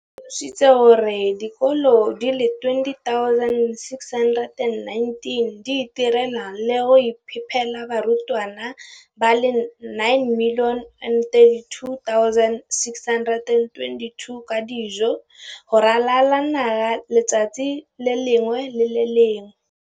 o tlhalositse gore dikolo di le 20 619 di itirela le go iphepela barutwana ba le 9 032 622 ka dijo go ralala naga letsatsi le lengwe le le lengwe.